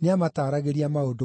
nĩamataragĩria maũndũ mothe.